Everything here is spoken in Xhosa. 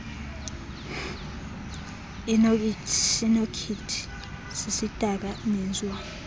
inokhithini sisidaka mizwa